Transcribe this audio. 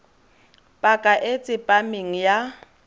paka e e tsepameng ya